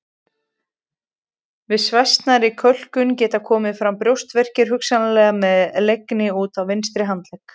Við svæsnari kölkun geta komið fram brjóstverkir hugsanlega með leiðni út í vinstri handlegg.